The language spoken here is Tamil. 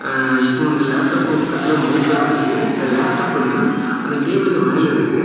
அஅஅ இப்ப வந்து லேப்டாப் பக்கத்துல மவுசு எல்லா இருக்குது இந்த லேப்டாப் வந்து அந்த டேபிளுக்கு மேல இருக்கு.